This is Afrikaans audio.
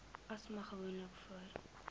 asma gewoonlik voor